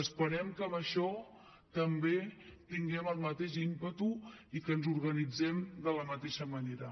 esperem que amb això també tinguem el mateix ímpetu i que ens organitzem de la mateixa manera